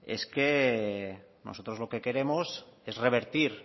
es que nosotros lo que queremos es revertir